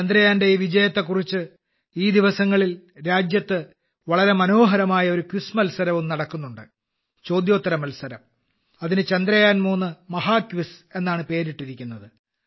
ചന്ദ്രയാന്റെ ഈ വിജയത്തെക്കുറിച്ച് ഈ ദിവസങ്ങളിൽ രാജ്യത്ത് വളരെ മനോഹരമായ ഒരു ക്വിസ് മത്സരം നടക്കുന്നുണ്ട് ചോദ്യോത്തര മത്സരം അതിന് ചന്ദ്രയാൻ3 മഹാക്വിസ് എന്നാണ് പേരിട്ടിരിക്കുന്നത്